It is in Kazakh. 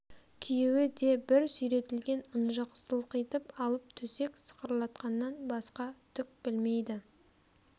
күйеуі де бір сүйретілген ынжық сылқитып алып төсек сықырлатқаннан басқа түк білмейді